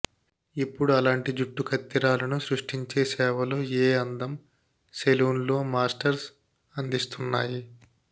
ఇప్పుడు అలాంటి జుట్టు కత్తిరాలను సృష్టించే సేవలు ఏ అందం సెలూన్లో మాస్టర్స్ అందిస్తున్నాయి